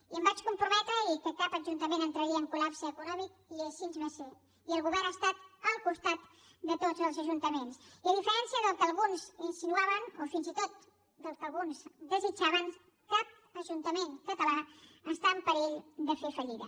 i em vaig comprometre que cap ajuntament entraria en colha estat al costat de tots els ajuntaments i a diferència del que alguns insinuaven o fins i tot del que alguns desitjaven cap ajuntament català està en perill de fer fallida